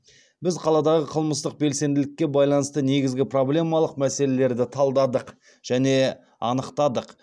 біз қаладағы қылмыстық белсенділікке байланысты негізгі проблемалық мәселелерді талдадық және анықтадық